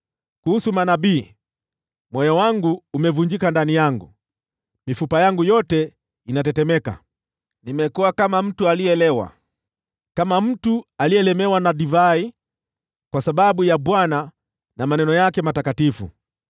Kuhusu manabii: Moyo wangu umevunjika ndani yangu; mifupa yangu yote inatetemeka. Nimekuwa kama mtu aliyelewa, kama mtu aliyelemewa na divai, kwa sababu ya Bwana na maneno yake matakatifu.